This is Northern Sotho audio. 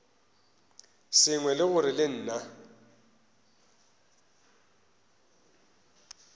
sengwe ke gore le nna